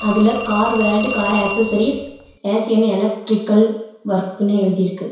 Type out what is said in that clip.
இதுல car world car accessories S N electrical வொர்க்குனு எழுதிருக்கு.